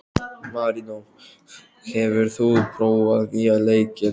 Marínó, hefur þú prófað nýja leikinn?